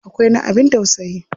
Akwai na abin tausayi.